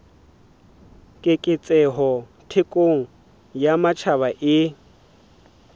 keketseho thekong ya matjhaba e